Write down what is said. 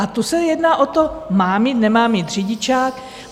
A tu se jedná o to: mám mít, nemá mít řidičák?